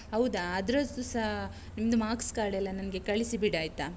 ಹೌದಾ? ಅದ್ರದುಸಾ ನಿನ್ದು marks card ಎಲ್ಲ ನಂಗೆ ಕಳಿಸಿ ಬಿಡಾಯ್ತಾ.